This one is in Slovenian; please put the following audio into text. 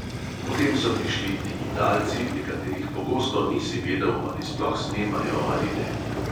Potem so prišli digitalci, pri katerih pogosto nisi vedel, ali sploh snemajo ali ne.